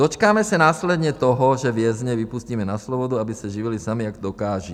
Dočkáme se následně toho, že vězně vypustíme na svobodu, aby se živili sami jak dokážou.